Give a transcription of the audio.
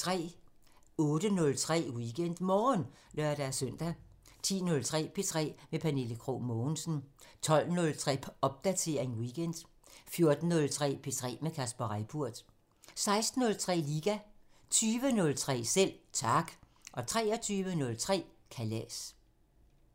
08:03: WeekendMorgen (lør-søn) 10:03: P3 med Pernille Krog Mogensen 12:03: Popdatering weekend 14:03: P3 med Kasper Reippurt 16:03: Liga 20:03: Selv Tak 23:03: Kalas